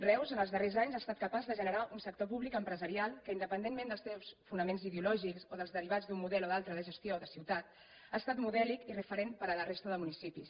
reus en els darrers anys ha estat capaç de generar un sector públic empresarial que independentment dels seus fonaments ideològics o dels derivats d’un model o d’un altre de gestió de ciutat ha estat modèlic i referent per a la resta de municipis